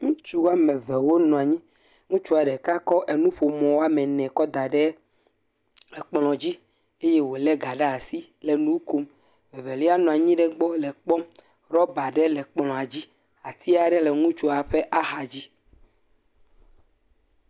Ŋutsu wɔme eve wo nɔ anyi. Ŋutsua ɖeka kɔ enuƒomɔ wɔme ene kɔ da ɖe ekplɔ dzi eye wole ga ɖe asi le nu kom. Evelia nɔ anyi ɖe egbɔ le kpɔm. Ɖɔba aɖe le kplɔa dzi. Ati aɖe le ŋutsua ƒe axa dzi.